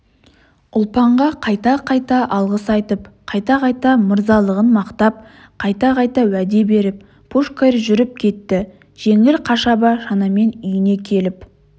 ұлпанға қайта-қайта алғыс айтып қайта-қайта мырзалығын мақтап қайта-қайта уәде беріп пушкарь жүріп кетті жеңіл қашаба шанамен үйіне келіп